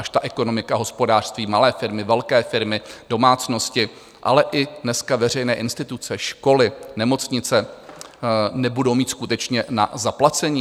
Až ta ekonomika, hospodářství, malé firmy, velké firmy, domácnosti, ale i dneska veřejné instituce, školy, nemocnice nebudou mít skutečně na zaplacení?